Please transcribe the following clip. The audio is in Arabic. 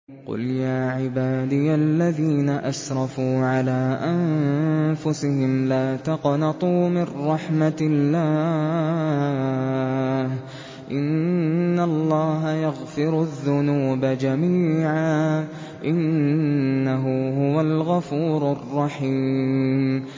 ۞ قُلْ يَا عِبَادِيَ الَّذِينَ أَسْرَفُوا عَلَىٰ أَنفُسِهِمْ لَا تَقْنَطُوا مِن رَّحْمَةِ اللَّهِ ۚ إِنَّ اللَّهَ يَغْفِرُ الذُّنُوبَ جَمِيعًا ۚ إِنَّهُ هُوَ الْغَفُورُ الرَّحِيمُ